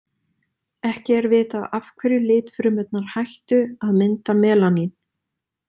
Ekki er vitað af hverju litfrumurnar hætta að mynda melanín.